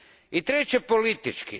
I treće, politički.